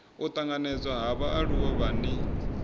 u tanganedzwa ha vhaaluwa vhane